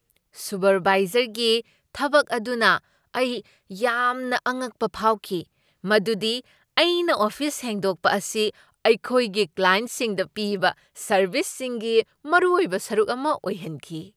ꯁꯨꯄꯔꯚꯥꯏꯖꯔꯒꯤ ꯊꯕꯛ ꯑꯗꯨꯅ ꯑꯩ ꯌꯥꯝꯅ ꯑꯉꯛꯄ ꯐꯥꯎꯈꯤ ꯃꯗꯨꯗꯤ ꯑꯩꯅ ꯑꯣꯐꯤꯁ ꯁꯦꯡꯗꯣꯛꯄ ꯑꯁꯤ ꯑꯩꯈꯣꯏꯒꯤ ꯀ꯭ꯂꯥꯏꯟꯠꯁꯤꯡꯗ ꯄꯤꯕ ꯁꯔꯕꯤꯁꯁꯤꯡꯒꯤ ꯃꯔꯨꯑꯣꯏꯕ ꯁꯔꯨꯛ ꯑꯃ ꯑꯣꯏꯍꯟꯈꯤ ꯫